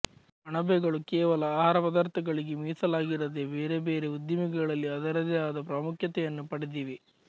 ಅಣಬೆಗಳು ಕೇವಲ ಆಹಾರ ಪದಾರ್ಥಗಳಿಗೆ ಮೀಸಲಾಗಿರದೆ ಬೇರೆ ಬೇರೆ ಉದ್ದಿಮೆಗಳಲ್ಲಿ ಅದರದೇ ಆದ ಪ್ರಾಮುಖ್ಯತೆಯನ್ನು ಪಡೆದಿವೆ